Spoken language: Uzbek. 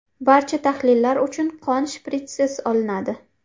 Barcha tahlillar uchun qon shpritssiz olinadi.